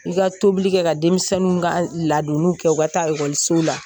I ka tobili kɛ ka denmisɛnninw ka ladonniw kɛ u ka taa ekɔliso la